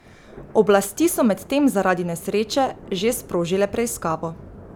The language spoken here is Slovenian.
Oblasti so medtem zaradi nesreče že sprožile preiskavo.